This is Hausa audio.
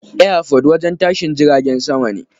Airport wajen tashin jiragen sama ne.